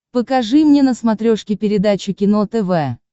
покажи мне на смотрешке передачу кино тв